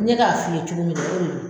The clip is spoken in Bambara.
N ɲe k'a f'i ye cogo min dɛ o de do.